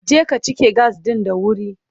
Je ka cike gas ɗin da wuri!